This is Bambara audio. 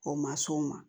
O ma s'o ma